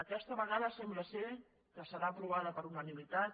aquesta vegada sembla que serà aprovada per unanimitat